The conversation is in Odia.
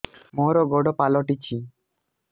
ମୋର ଗୋଡ଼ ପାଲଟିଛି